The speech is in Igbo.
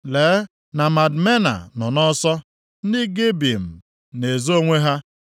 Lee na Madmena nọ nʼọsọ, ndị Gebim na-ezo onwe ha.